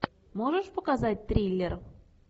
можешь показать триллер